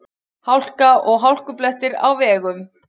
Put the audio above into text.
Hálka og hálkublettir á vegum